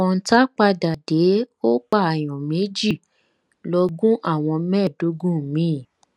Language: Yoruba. kọ̀ǹta padà dé ó pààyàn méjì lọ gún àwọn mẹ́ẹ̀ẹ́dógún mi